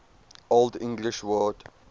old english word